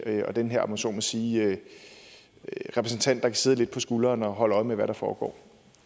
og den her om jeg så må sige repræsentant der kan sidde lidt på skulderen og holde øje med hvad der foregår